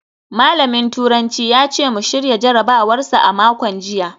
Malamin turanci ya ce mu shirya jarabawar sa a makon jiya